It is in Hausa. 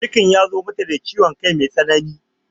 Cikin ya zo mata da ciwon kai mai tsanani